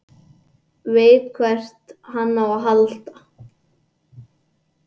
Veit hvert hann á að halda.